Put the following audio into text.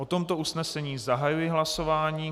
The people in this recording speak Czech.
O tomto usnesení zahajuji hlasování.